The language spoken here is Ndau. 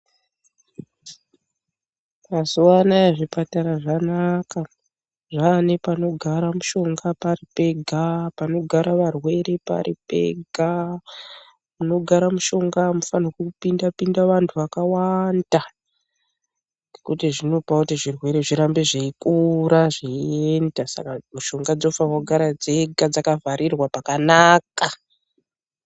Mazuvano aya zvipatara zvanaka. Zvava nepanogara mushonga pari pega, panogara varwere pari pega. Panogara mishonga hamufanirwi kupinda pinda vantu vakawanda nokuti zvinopa kuti zvirwere zvirambe zveyikura, zveyienda saka mishonga dzinofanira kugara dzega dzaka vharirwa pakanaka.